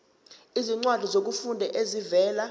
izincwadi zokufunda ezivela